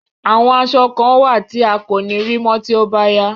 Àwọn aṣọ kan wà tí a kò ní rí mọ́ tí ó bá yá.